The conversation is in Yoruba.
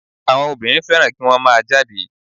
Àwọn obìnrin fẹ́ràn kí wọ́n má a jáde